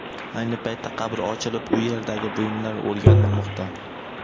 Ayni paytda qabr ochilib, u yerdagi buyumlar o‘rganilmoqda.